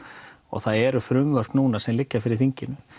það eru frumvörp núna sem liggja fyrir þinginu